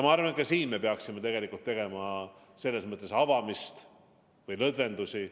Ma arvan, et ka siin me peaksime tegema lõdvendusi.